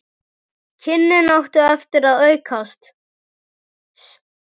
Kynnin áttu eftir að aukast.